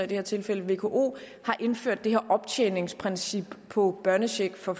det her tilfælde vko har indført det her optjeningsprincip på børnechecken for